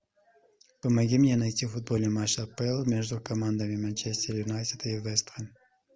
помоги мне найти футбольный матч апл между командами манчестер юнайтед и вест хэм